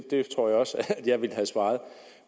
det tror jeg også at jeg ville have svaret